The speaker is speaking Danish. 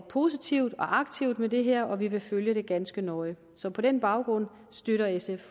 positivt og aktivt med det her og vi vil følge det ganske nøje så på den baggrund støtter sf